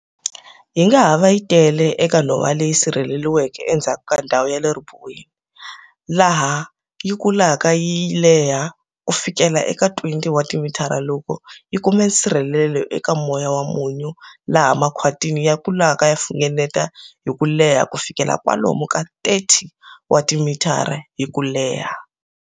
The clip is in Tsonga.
Yi nga ha va yi tele eka nhova leyi sirheleriweke endzhaku ka ndhawu ya le ribuweni, laha yi kulaka yi leha kufikela eka 20 wa timitara loko yi kuma nsirhelelo eka moya wa munyu laha makhwati ya kulaka ya funengeta hi ku leha ku fika kwalomu ka 30 wa timitara hi kuleha.